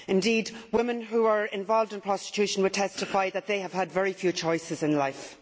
Indeed, women who are involved in prostitution will testify that they have had very few choices in life.